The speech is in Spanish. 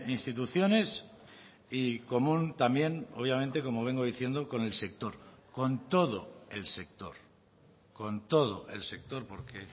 instituciones y común también obviamente como vengo diciendo con el sector con todo el sector con todo el sector porque